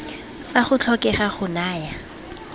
fa go tlhokega go naya